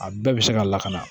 A bɛɛ bɛ se ka lakana